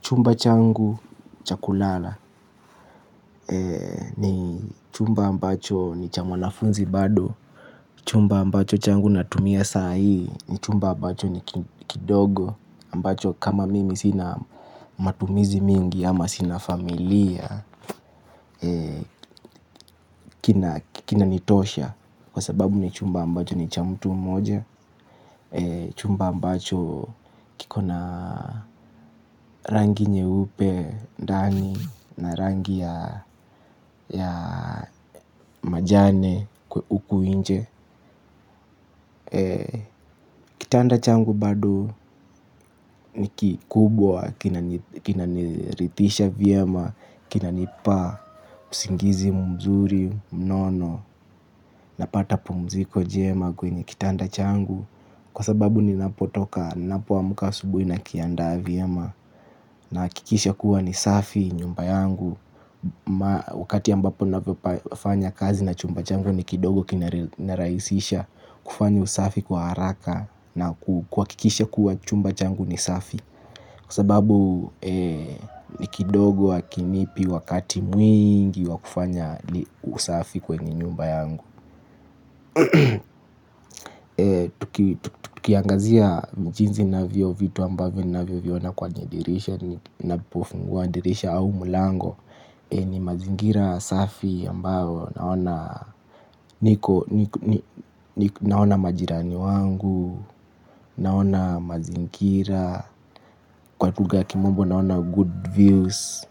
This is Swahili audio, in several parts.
Chumba changu cha kulala ni chumba ambacho ni cha mwanafunzi bado. Chumba ambacho changu natumia saa hii ni chumba ambacho ni kidogo ambacho kama mimi sina matumizi mingi ama sina familia. Kinanitosha kwa sababu ni chumba ambacho ni cha mtu mmoja. Chumba ambacho kiko na rangi nyeupe, ndani na rangi ya majani huku nje. Kitanda changu bado ni kikubwa, kinaniridhisha vyema, kinanipa, usingizi mzuri, mnono. Napata pumziko jema kwenye kitanda changu. Kwa sababu ninapotoka, ninapoamka asubuhi nakiandaa vyema. Nahakikisha kuwa ni safi nyumba yangu. Wakati ambapo nafanya kazi na chumba changu ni kidogo kinarahisisha. Kufanya usafi kwa haraka na kuhakikisha kuwa chumba changu ni safi. Kwa sababu ni kidogo hakinipi wakati mwingi wa kufanya usafi kwenye nyumba yangu. Tukiangazia ni jinsi navyo vitu ambavyo navyoviona kwenye dirisha. Ninapofungua dirisha au mlango ni mazingira safi ambayo naona. Naona majirani wangu. Naona mazingira. Kwa lugha ya kimombo naona good views.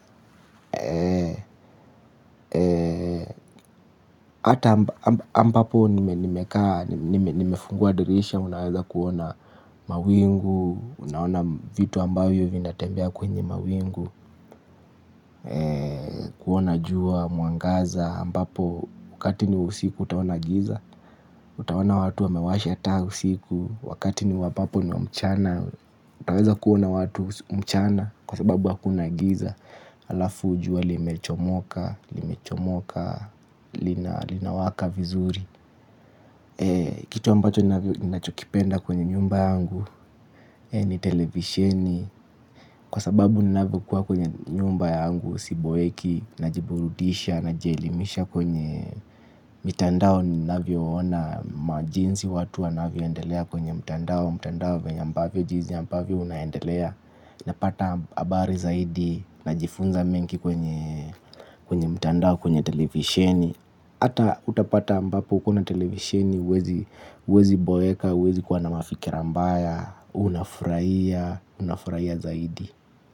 Ata ambapo nimekaa nimefungua dirisha, unaweza kuona mawingu, unaona vitu ambayo vinatembea kwenye mawingu. Kuona jua, mwangaza, ambapo wakati ni usiku utaona giza. Utaona watu wamewasha taa usiku, wakati ni wa ambapo ni wa mchana. Utaweza kuona watu mchana kwa sababu hakuna giza halafu jua limechomoka, limechomoka, linawaka vizuri. Kitu ambacho ninachokipenda kwenye nyumba yangu ni televisheni. Kwa sababu ninavokuwa kwenye nyumba yangu siboeki najiburudisha najielimisha kwenye mitandao ninavyoona majinsi watu wanavyoendelea kwenye mtandao. Mtandao venye ambavyo jizi ambavyo unaendelea. Napata habari zaidi najifunza mengi kwenye mtandao kwenye televisheni. Ata utapata ambapo kuna televisheni, huwezi boeka, huwezi kuwa na mafikira mbaya, unafurahia, unafurahia zaidi.